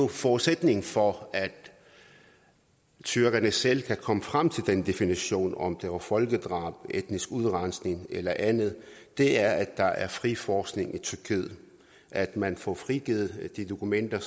forudsætningen for at tyrkerne selv kan komme frem til den definition om det var folkedrab etnisk udrensning eller andet er at der er fri forskning i tyrkiet at man får frigivet de dokumenter